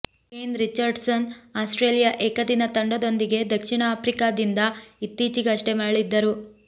Kane Richardson Australia ಏಕದಿನ ತಂಡದೊಂದಿಗೆ ದಕ್ಷಿಣ ಆಫ್ರಿಕಾದಿಂದ ಇತ್ತೀಚಿಗಷ್ಟೇ ಮರಳಿದ್ದರು